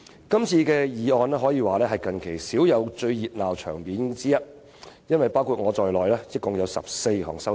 這次議案辯論可謂近期少有般熱鬧，因為包括我在內共有14項修正案。